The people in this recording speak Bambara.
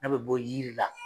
N'a be bɔ yiri la.